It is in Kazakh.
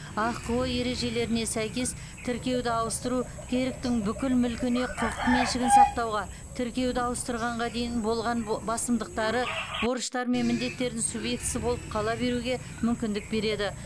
ахқо ережелеріне сәйкес тіркеуді ауыстыру керк тің бүкіл мүлкіне құқық меншігін сақтауға тіркеуді ауыстырғанға дейін болған бо басымдықтары борыштар мен міндеттердің субъектісі болып қала беруге мүмкіндік береді